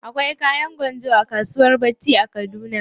Akwai kayan gwanjo a kasuwan bacci a kaduna.